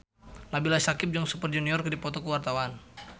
Nabila Syakieb jeung Super Junior keur dipoto ku wartawan